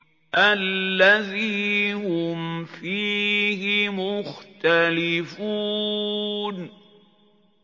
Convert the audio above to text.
الَّذِي هُمْ فِيهِ مُخْتَلِفُونَ